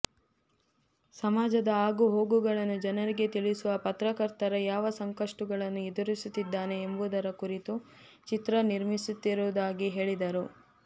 ಸಮಾಜದ ಆಗು ಹೋಗುಗಳನ್ನು ಜನರಿಗೆ ತಿಳಿಸುವ ಪತ್ರಕರ್ತರ ಯಾವ ಸಂಕಷ್ಟುಗಳನ್ನು ಎದುರಿಸುತ್ತಿದ್ದಾನೆ ಎಂಬುದರ ಕುರಿತು ಚಿತ್ರ ನಿರ್ಮಿಸುತ್ತಿರುವುದಾಗಿ ಹೇಳಿದರು